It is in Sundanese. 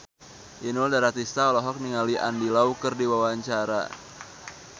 Inul Daratista olohok ningali Andy Lau keur diwawancara